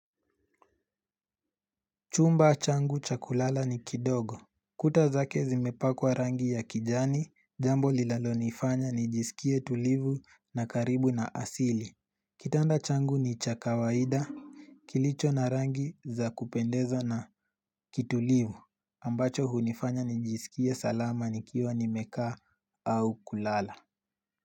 Chumba changu cha kulala ni kidogo. Kuta zake zimepakwa rangi ya kijani, jambo lilalonifanya nijisikie tulivu na karibu na asili. Kitanda changu ni cha kawaida kilicho na rangi za kupendeza na kitulivu ambacho hunifanya nijisikie salama nikiwa nimekaa au kulala.